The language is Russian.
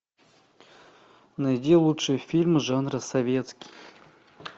найди лучшие фильмы жанра советский